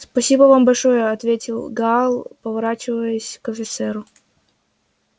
спасибо вам большое ответил гаал поворачиваясь к офицеру